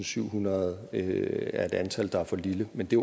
syvhundrede er et antal der er for lille men det